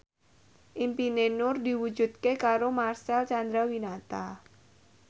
impine Nur diwujudke karo Marcel Chandrawinata